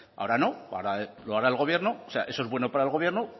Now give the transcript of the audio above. ahora no ahora lo hará el gobierno o sea eso es bueno para el gobierno